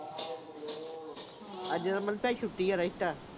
ਅੱਜ ਮਲੀਤਾ ਦੀ ਛੁੱਟੀ ਆ